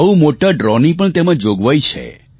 બહુ મોટા ડ્રો ની પણ તેમાં જોગવાઇ છે